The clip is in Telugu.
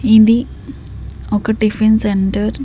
ఇది ఒక టిఫిన్ సెంటర్.